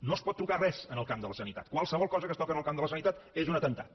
no es pot tocar res en el camp de la sanitat qualsevol cosa que es toca en el camp de la sanitat és un atemptat